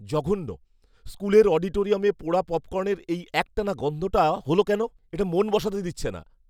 জঘন্য, স্কুলের অডিটোরিয়ামে পোড়া পপকর্নের এই একটানা গন্ধটা হল কেন? এটা মন বসাতে দিচ্ছে না।